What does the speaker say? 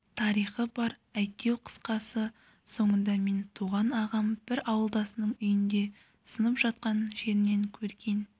тарихы бар әйтеу қысқасы соңында менің туған ағам бір ауылдасының үйінде сынып жатқан жерінен көрген